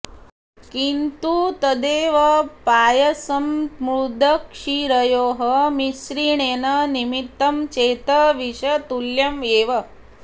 किन्तु तदेव पायसं मुद्गक्षीरयोः मिश्रणेन निर्मितं चेत् विषतुल्यम् एव